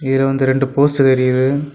இதுல வந்து ரெண்டு போஸ்ட் தெரியுது.